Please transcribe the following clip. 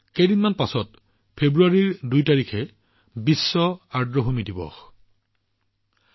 কেইদিনমান পিছতে ফেব্ৰুৱাৰী ২ তাৰিখে বিশ্ব আৰ্দ্ৰভূমি দিৱস পালন কৰা হব